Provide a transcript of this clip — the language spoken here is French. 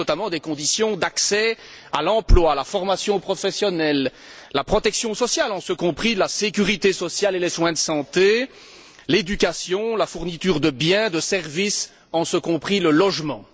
Il s'agit notamment des conditions d'accès à l'emploi, la formation professionnelle, la protection sociale en ce compris la sécurité sociale et les soins de santé l'éducation, la fourniture de biens, de services en ce compris le logement.